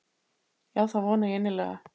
Já það vona ég innilega.